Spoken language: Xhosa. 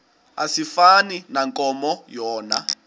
asifani nankomo yona